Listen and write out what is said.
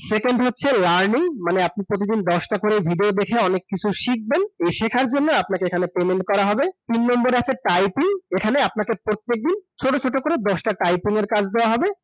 Second হচ্ছে learning, মানে আপনি প্রতিদিন দশটা করে video দেখে অনেক কিছু শিখবেন, এই শেখার জন্নে আপনাকে payment করা হবে। তিন number এ আছে typing, এখানে আপনাকে প্রত্যেকদিন, ছোট ছোট করে দশটা typing এর কাজ দেয়া হবে ।